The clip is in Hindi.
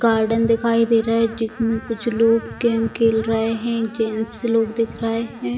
गार्डन दिखाई दे रहा है जिसमें कुछ लोग गेम खेल रहे है जेंट्स लोग दिख रहे है।